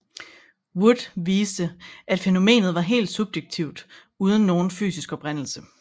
Wood viste at fænomenet var helt subjektivt uden nogen fysisk oprindelse